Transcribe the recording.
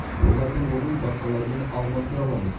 олардың орнын басқаларымен алмастыра аламыз